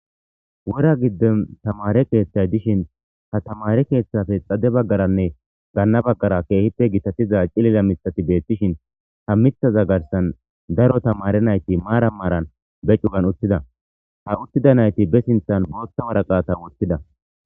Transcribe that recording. wora giddon tamare keeththay dishin ha tamare keeththafe xade baggaranne gaanna baggara keehippe gitatiza cilila misati beettishin ha mithaza garsan daro tamare nayti maara maaran be cugan utthida ha uttida nayti be sinthan booththa wara qata woththida